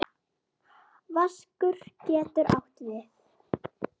Vaskur getur átt við